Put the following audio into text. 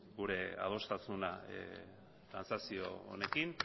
gure adostasuna trantsazio honekin